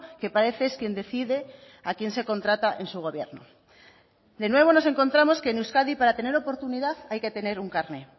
que parece es quien decide a quién se contrata en su gobierno de nuevo nos encontramos que en euskadi para tener oportunidad hay que tener un carné